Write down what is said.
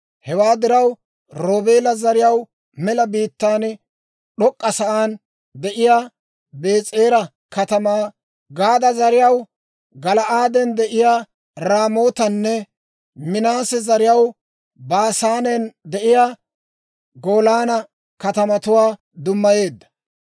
Hewaa diraw, Roobeela zariyaw mela biittaan d'ok'k'asaan de'iyaa Bees'era katamaa, Gaada zariyaw Gala'aaden de'iyaa Raamootanne Minaase zariyaw Baasaanen de'iyaa Golaana katamatuwaa dummayeedda.